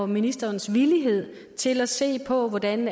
ministerens villighed til at se på hvordan